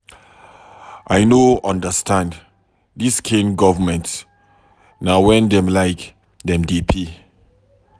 I no understand dis kain government, na wen dem like dem dey pay.